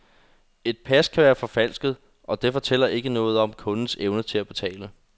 Et pas kan være forfalsket, og det fortæller ikke noget om kundens evne til at betale.